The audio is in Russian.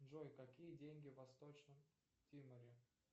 джой какие деньги в восточном тиморе